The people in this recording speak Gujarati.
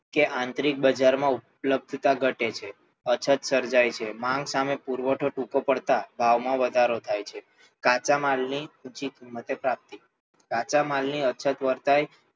કે આંતરિક બજારમાં ઉપલબ્ધતા ઘટે છે અછત સર્જાય છે માંગ સામે પુરવઠો ટૂંકો પડતાં ભાવમાં વધારો થાય છે કાચા માલની ઊંચી કિંમતે પ્રાપ્તિ કાચા માલની અછત વર્તાય